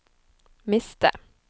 miste